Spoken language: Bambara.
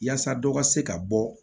Yaasa dɔ ka se ka bɔ